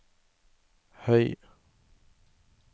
høy